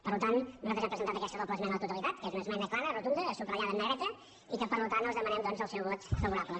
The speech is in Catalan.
per tant nosaltres hem presentat aquesta doble esmena a la totalitat que és una esmena clara rotunda subratllada en negreta i que per tant els demanem doncs el seu vot favorable